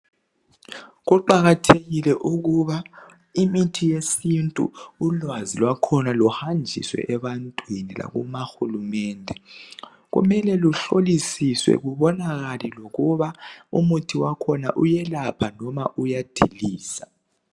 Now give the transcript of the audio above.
Kuqakathekile ukuba imithi yesintu ulwazi lwakhona luhanjiswe ebantwini lakuhulumende. Kumele luhlolisiswe lubonakale lokuba umuthi wakhona uyelapha loba uyadiliza.